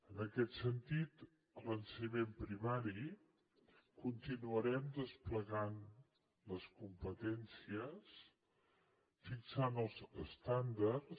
en aquest sentit a l’ensenyament primari continuarem desplegant les competències fixant els estàndards